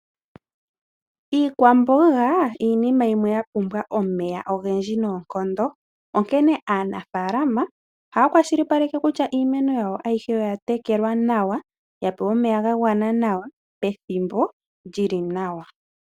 Iikwamboga iinima yimwe ya pumbwa omeya ogendji noonkondo, onkene aanafaalama ohaya kwashilipaleke kutya iimeno yawo ayihe oya tekelwa nawa, ya pewa omeya ga gwana nawa pethimbo li li nawa.